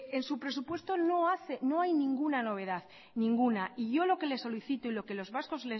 en su presupuesto no hay ninguna novedad y yo lo que le solicito y lo que los vascos